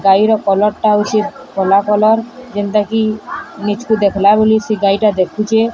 ଗାଈର କଲର୍ ଟାହୋଉଚି କଲା କଲର୍ ଜେମ୍ତାକି ଲିଚ୍ କୁ ଦେଖିଲାବୋଲି ସେ ଗାଈଟା ଦେଖିଚେ।